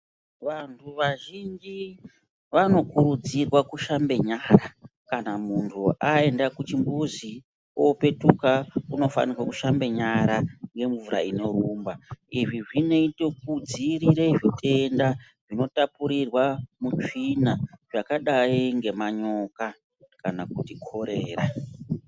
Vantu vazhinji vanokurudzirwa kushambe nyara .Kana muntu aenda kuchimbuzi opetuka unofana kushambe nyara ngemvura inorumba , izvii zvinoita kudzivirira zvitenda zvinotapurirwa mutsvina zvakadai ngemanyoka kana kuti korera .